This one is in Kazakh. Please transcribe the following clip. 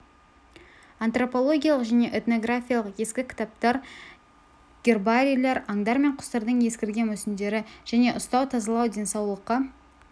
антропологиялық және этнографиялық ескі кітаптар гербарийлер аңдар мен құстардың ескірген мүсіндері және ұстау тазалау денсаулыққа